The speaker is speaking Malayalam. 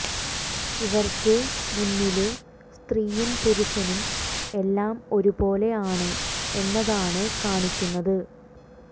ഇവര്ക്ക് മുന്നില് സ്ത്രീയും പുരുഷനും എല്ലാം ഒരുപോലെ ആണ് എന്നതാണ് കാണിയ്ക്കുന്നത്